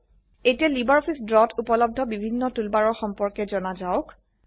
এতিয়া LibreOffice Draw তে উপলব্ধ বিভিন্ন টুলবাৰৰ সম্পৰ্কে জনা যাওক